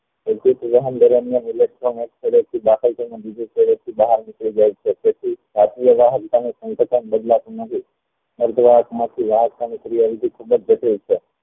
દરમિયાન electron એક છેડે થી દાખલ થયીને બીજે છેડે થી બહાર નીકળી જાય છે તેથી બદલાતું નથી